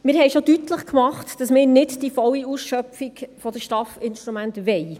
Wir haben schon deutlich gemacht, dass wir nicht die volle Ausschöpfung der STAF-Instrumente wollen.